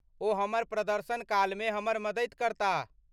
ओ हमर प्रदर्शन काल मे हमर मदति करताह।